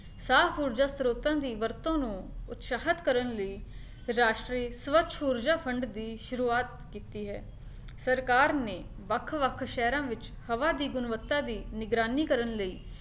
ਸਾਹ, ਊਰਜਾ ਸਰੋਤਾਂ ਦੀ ਵਰਤੋਂ ਨੂੰ ਉਤਸ਼ਾਹਿਤ ਕਰਨ ਲਈ ਰਾਸ਼ਟਰੀ ਸਵੱਛ ਊਰਜਾ fund ਦੀ ਸ਼ੁਰੂਵਾਤ ਕੀਤੀ ਹੈ, ਸਰਕਾਰ ਨੇ ਵੱਖ ਵੱਖ ਸ਼ਹਿਰਾਂ ਵਿੱਚ ਹਵਾ ਦੀ ਗੁਣਵੱਤਾ ਦੀ ਨਿਗਰਾਨੀ ਕਰਨ ਲਈ